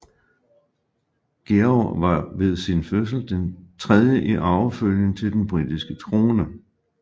Georg var ved sin fødsel tredje i arvefølgen til den britiske trone